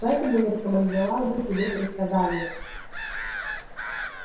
поэтому я рекомендовал бы тебе предсказания